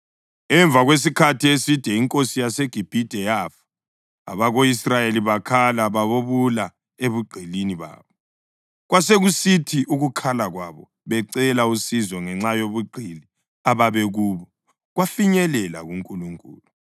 Emva kwesikhathi eside, inkosi yaseGibhithe yafa. Abako-Israyeli bakhala babubula ebugqilini babo, kwasekusithi ukukhala kwabo becela usizo ngenxa yobugqili ababekubo kwafinyelela kuNkulunkulu.